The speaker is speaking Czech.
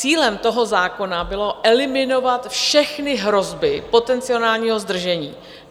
Cílem toho zákona bylo eliminovat všechny hrozby potenciálního zdržení.